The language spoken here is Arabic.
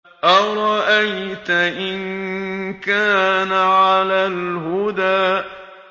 أَرَأَيْتَ إِن كَانَ عَلَى الْهُدَىٰ